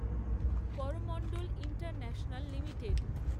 Coromandel International limited